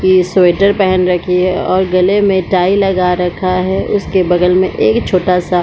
की स्वेटर पेहेन रखी है और गले में टाई लगा रखा है उसके बगल में एक छोटा- सा --